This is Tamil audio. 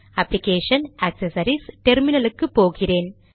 application GT accessories GT terminal க்கு போகிறேன்